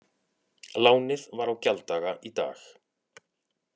Lánið var á gjalddaga í dag